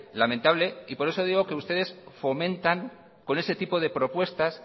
lamentable y por eso digo que ustedes fomentan con ese tipo de propuestas